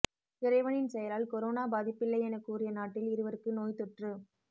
இறைவனின் செயலால் கொரோனா பாதிப்பில்லை என கூறிய நாட்டில் இருவருக்கு நோய்தொற்று